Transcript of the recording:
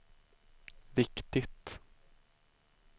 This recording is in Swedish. viktigt